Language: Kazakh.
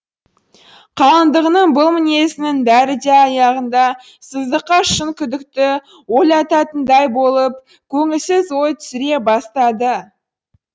қалыңдығының бұл мінезінің бәрі де аяғында сыздыққа шын күдікті ойлататындай болып көңілсіз ой түсіре бастады